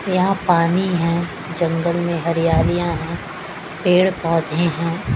यहां पानी है जंगल में हरियालियां है पेड़ पौधे हैं।